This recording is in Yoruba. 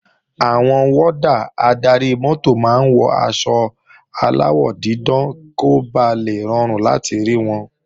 Àwọn wọ́dà adarí-mọ́tò máa ń wọ aṣọ aláwọ̀ dídán kó ba lè rọrùn láti rí wọn